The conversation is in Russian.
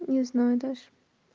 не знаю даже